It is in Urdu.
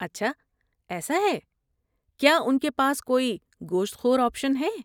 اچھا ایسا ہے، کیا ان کے پاس کوئی گوشت خور آپشن ہے؟